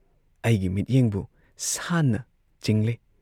ꯑꯩꯒꯤ ꯃꯤꯠꯌꯦꯡꯕꯨ ꯁꯥꯟꯅ ꯆꯤꯡꯂꯦ